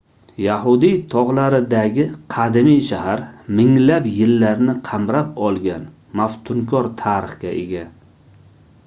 yahudiy togʻlaridagi qadimiy shahar minglab yillarni qamrab olgan maftunkor tarixga ega